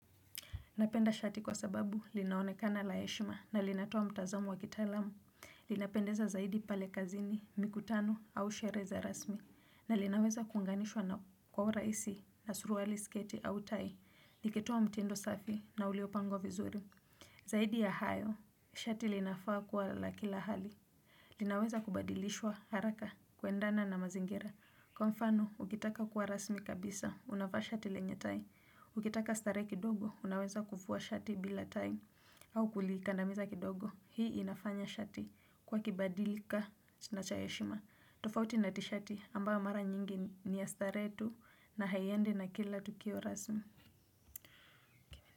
Napenda shati kwa sababu linaonekana laheshima na linatoa mtazamo wakitaalamu, linapendeza zaidi pale kazini, mikutano au shereheza rasmi, na linaweza kuunganishwa na kwaura hisi na suruali sketi au tai, likitoa mtindo safi na ulio pangwa vizuri. Zaidi ya hayo, shati linafaa kuwa lakila hali. Linaweza kubadilishwa haraka kuendana na mazingira. Kwa mfano, ukitaka kuwa rasmi kabisa, unavaa shati lenye tai. Ukitaka starehe kidogo, unaweza kuvua shati bila tai. Au kulikandamiza kidogo, hii inafanya shati kuwa kibadilika na chaheshima. Tofauti natishati ambayo mara nyingi niya starehe tu na haiendi na kila tukio rasmi.